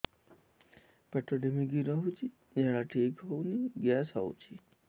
ପେଟ ଢିମିକି ରହୁଛି ଝାଡା ଠିକ୍ ହଉନି ଗ୍ୟାସ ହଉଚି